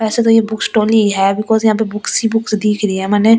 वैसे तो यह बुक स्टोर है बिकॉज़ यहां पे बुक्स ही बुक्स दिख रही है मैंने ।